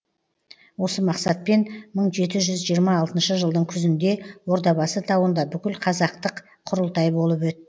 осы мақсатпен мың жеті жүз жиырма алтыншы жылдың күзінде ордабасы тауында бүкілқазақтық құрылтай болып өт